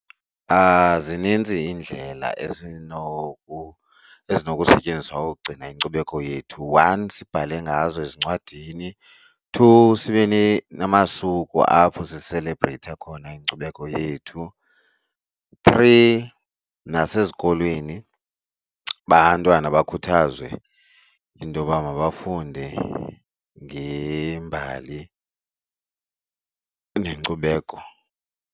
Zininzi iindlela ezinokusetyenziswa ukugcina inkcubeko yethu. One, sibhale ngazo ezincwadini. Two, sibe namasuku apho siselebreyitha khona inkcubeko yethu. Three, nasezikolweni abantwana bakhuthazwe intoba mabafunde ngembali nenkcubeko.